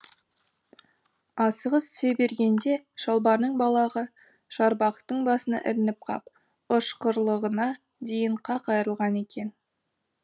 асығыс түсе бергенде шалбарының балағы шарбақтың басына ілініп қап ышқырлығына дейін қақ айырылған екен